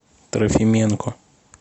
трофименко